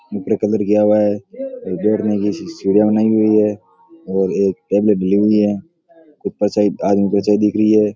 ऊपर कलर किया हुआ है एक बैठने की सीढिया बनाई हुई है और एक टेबल डली हुई है दिख रही है।